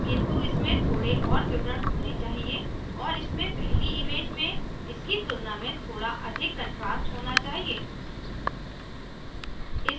किन्तु इसमें थोड़े और विवरण होने चाहिए और इसमें पहली image में इसकी तुलना में थोड़ा अधिक contrast होना चाहिए